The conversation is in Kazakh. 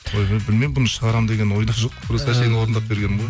ойбай білмеймін бұны шығарамын деген ойда жоқ просто әшейін орындап бергенмін ғой